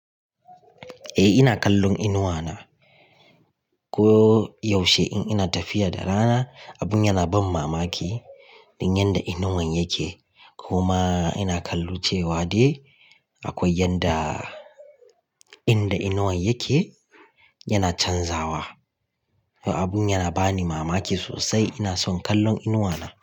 Eh ina kallon inuwa na. Ko yaushe in ina tafiya da rana, abun yana ban mamaki. Don yanda inuwan yake kuma ina kallon cewa dai akwai yanda, inda inuwan yake yana canzawa. Abun yana bani mamaki sosai. Ina son kallon inuwa na.